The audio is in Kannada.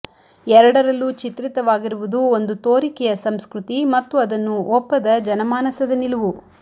ಎರಡರಲ್ಲೂ ಚಿತ್ರಿತವಾಗಿರುವುದು ಒಂದು ತೋರಿಕೆಯ ಸಂಸ್ಕೃತಿ ಮತ್ತು ಅದನ್ನು ಒಪ್ಪದ ಜನಮಾನಸದ ನಿಲುವು